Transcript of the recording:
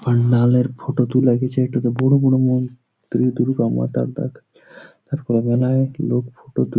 পান্ডাল এর ফটো তুলে দিয়েছে এটিতে বড় বড় মুখ দুর্গা মাতার দেখ তারপর অনেক লোক ফটো তুল--